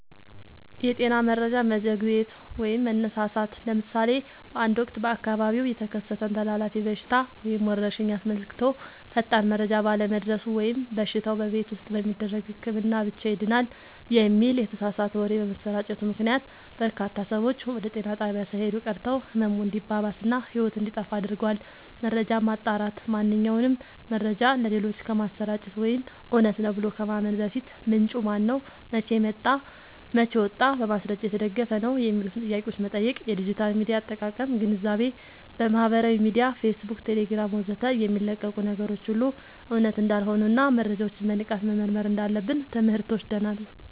የጤና መረጃ መዘግየት/መሳሳት፦ ለምሳሌ በአንድ ወቅት በአካባቢው የተከሰተን ተላላፊ በሽታ ወይም ወረርሽኝ አስመልክቶ ፈጣን መረጃ ባለመድረሱ ወይም በሽታው "በቤት ውስጥ በሚደረግ ህክምና ብቻ ይድናል" የሚል የተሳሳተ ወሬ በመሰራጨቱ ምክንያት፣ በርካታ ሰዎች ወደ ጤና ጣቢያ ሳይሄዱ ቀርተው ህመሙ እንዲባባስ እና ህይወት እንዲጠፋ አድርጓል። መረጃን ማጣራት፦ ማንኛውንም መረጃ ለሌሎች ከማሰራጨት ወይም እውነት ነው ብሎ ከማመን በፊት፣ "ምንጩ ማነው? መቼ ወጣ? በማስረጃ የተደገፈ ነው?" የሚሉትን ጥያቄዎች መጠየቅ። የዲጂታል ሚዲያ አጠቃቀም ግንዛቤ፦ በማህበራዊ ሚዲያ (ፌስቡክ፣ ቴሌግራም ወዘተ) የሚለቀቁ ነገሮች ሁሉ እውነት እንዳልሆኑና መረጃዎችን በንቃት መመርመር እንዳለብን ትምህርት ወስደናል።